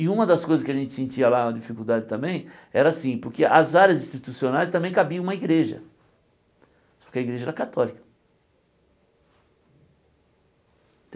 E uma das coisas que a gente sentia lá, uma dificuldade também, era assim, porque as áreas institucionais também cabia uma igreja, só que a igreja era católica.